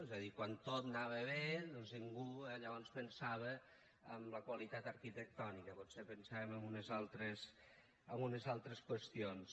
és a dir quan tot anava bé doncs ningú llavors pensava en la qualitat arquitectònica potser pensàvem en unes altres qüestions